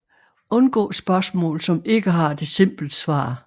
Undgå spørgsmål som ikke har et simpelt svar